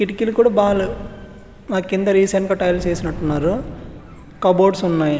కిటికీలు కూడా బాలెవ్ మకి కింద రీసెంట్ గా టైల్స్ ఎసినట్టు ఉన్నారు కప్ బోర్డ్స్ ఉన్నాయ్ .